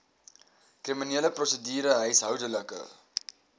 kriminele prosedure huishoudelike